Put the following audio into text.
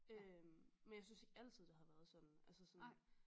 Øh men jeg synes ikke altid det har været sådan